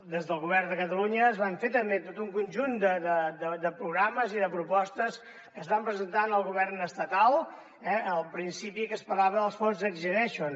des del govern de catalunya es van fer també tot un conjunt de programes i de propostes que es van presentar al govern estatal eh al principi que es parlava dels fons next generation